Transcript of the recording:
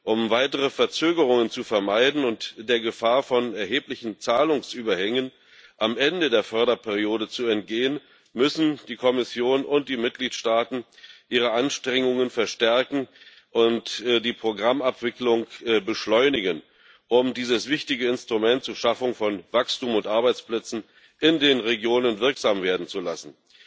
Um weitere Verzögerungen zu vermeiden und der Gefahr von erheblichen Zahlungsüberhängen am Ende der Förderperiode zu entgehen, müssen die Kommission und die Mitgliedstaaten ihre Anstrengungen verstärken und die Programmabwicklung beschleunigen, um dieses wichtige Instrument zur Schaffung von Wachstum und Arbeitsplätzen in den Regionen wirksam werden zu lassen.